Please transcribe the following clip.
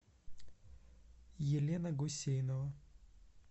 елена гусейнова